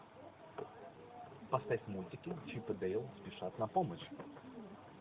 поставь мультики чип и дейл спешат на помощь